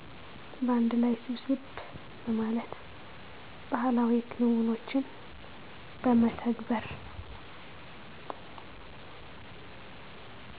በአንድ ላይ ሰብሰብ በማለት ባህላዊ ክንውኖችን በመተግበር